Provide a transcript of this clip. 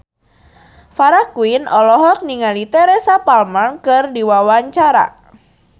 Farah Quinn olohok ningali Teresa Palmer keur diwawancara